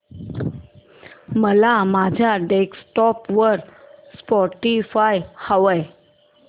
मला माझ्या डेस्कटॉप वर स्पॉटीफाय हवंय